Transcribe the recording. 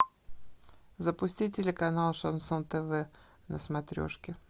запусти телеканал шансон тв на смотрешке